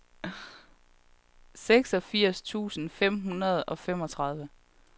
seksogfirs tusind fem hundrede og femogtredive